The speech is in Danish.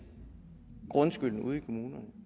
grundskylden ude i kommunerne